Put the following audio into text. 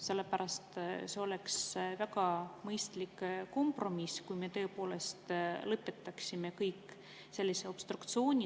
See oleks väga mõistlik kompromiss, kui me kõik tõepoolest lõpetaksime sellise obstruktsiooni.